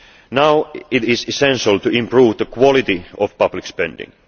Now it is essential to improve the quality of public spending.